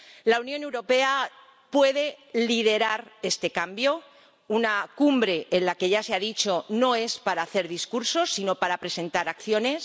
La Unión Europea puede liderar este cambio en una cumbre de la que ya se ha dicho que no es para hacer discursos, sino para presentar acciones.